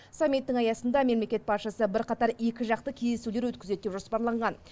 саммиттің аясында мемлекет басшысы бірқатар екіжақты кездесулер өткізеді деп жоспарланған